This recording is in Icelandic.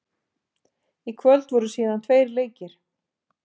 Í kvöld voru síðan tveir leikir.